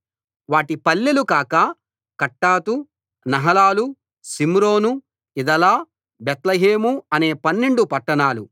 వాటి పల్లెలు కాక కట్టాతు నహలాలు షిమ్రోను ఇదలా బేత్లెహేము అనే పన్నెండు పట్టణాలు